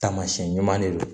Taamasiyɛn ɲuman de don